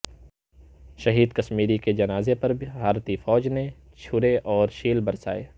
شہید کشمیری کے جنازے پر بھارتی فوج نے چھرے اور شیل برسائے